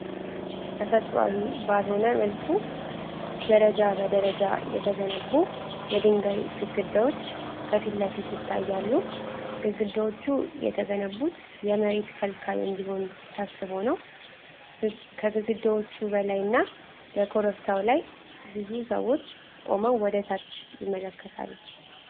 ተፈጥሯዊ ባልሆነ መልኩ ደረጃ በደረጃ የተገነቡ የድንጋይ ግድግዳዎች ከፊት ለፊት ይታያሉ። ግድግዳዎቹ የተገነቡት የመሬት ከልካይ እንዲሆን ታስቦ ነው። ከግድግዳዎቹ በላይና በኮረብታው ላይ ብዙ ሰዎች ቆመው ወደታች ይመለከታሉ።